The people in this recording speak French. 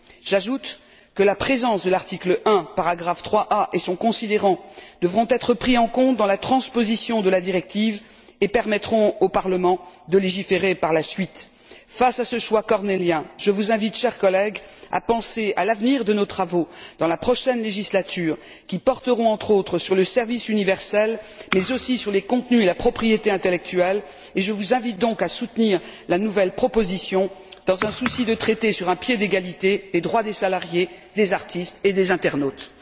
J'ajoute que la présence de l'article 1, paragraphe 3 bis, et son considérant devront être pris en compte dans la transposition de la directive, et qu'ils permettront au Parlement de légiférer par la suite. Face à ce choix cornélien, je vous invite, chers collègues, à penser à l'avenir de nos travaux dans la prochaine législature qui porteront, entre autres, sur le service universel mais aussi sur les contenus et la propriété intellectuelle, et je vous invite donc à soutenir la nouvelle proposition, dans un souci de traiter sur un pied d'égalité les droits des salariés, des artistes et des internautes.